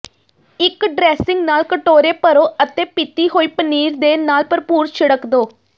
ਇੱਕ ਡ੍ਰੈਸਿੰਗ ਨਾਲ ਕਟੋਰੇ ਭਰੋ ਅਤੇ ਪੀਤੀ ਹੋਈ ਪਨੀਰ ਦੇ ਨਾਲ ਭਰਪੂਰ ਛਿੜਕ ਦਿਓ